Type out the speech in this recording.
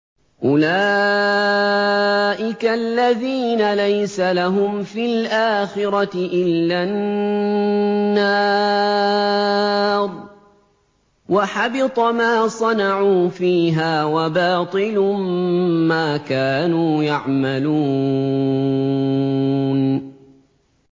أُولَٰئِكَ الَّذِينَ لَيْسَ لَهُمْ فِي الْآخِرَةِ إِلَّا النَّارُ ۖ وَحَبِطَ مَا صَنَعُوا فِيهَا وَبَاطِلٌ مَّا كَانُوا يَعْمَلُونَ